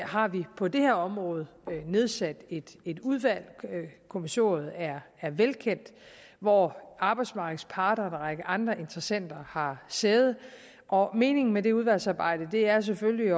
har vi på det her område nedsat et et udvalg kommissoriet er er velkendt hvor arbejdsmarkedets parter og en række andre interessenter har sæde og meningen med det udvalgsarbejde er selvfølgelig